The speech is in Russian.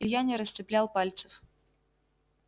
илья не расцеплял пальцев